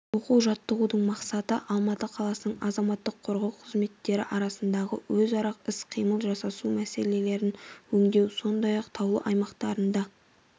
оқу-жаттығудың мақсаты алматы қаласының азаматтық қорғау қызметтері арасындағы өзара іс-қимыл жасасу мәселелерін өңдеу сондай-ақ таулы аймақтарында